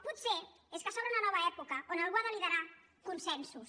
potser és que s’obre una nova època on algú ha de liderar consensos